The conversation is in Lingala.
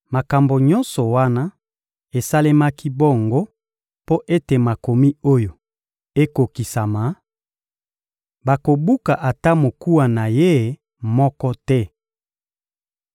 Makambo nyonso wana esalemaki bongo mpo ete Makomi oyo ekokisama: «Bakobuka ata mokuwa na Ye moko te.»